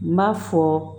N b'a fɔ